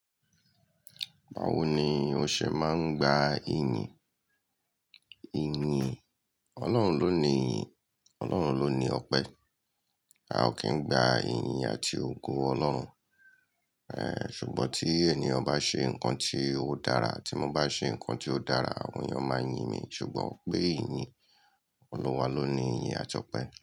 Báwo ni o ṣe máa ń gba iyin? Iyin Ọlọ́run ló ni iyin, Ọlọ́run ló ni ọpẹ́. A ò kí ń gba iyin àti ògo Ọlọ́run. Ṣùgbọ́n tí ènìyàn bá ṣe nǹkan tí ó dára ti mo bá ṣe nǹkan tí ó dára, àwọn ènìyàn máa yín mi ṣùgbọ́n pé ìyìn Olúwa ló ni ìyìn àjọpẹ́.